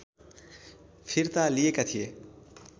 फिर्ता लिएका थिए